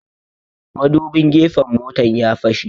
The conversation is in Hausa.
Madubin gefen motan ya fashe